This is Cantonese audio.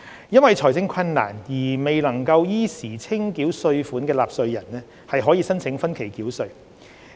因財政困難而未能依時清繳稅款的納稅人，可申請分期繳稅。